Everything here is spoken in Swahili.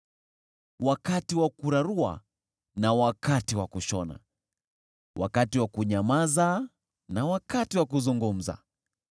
wakati wa kurarua na wakati wa kushona, wakati wa kunyamaza na wakati wa kuzungumza,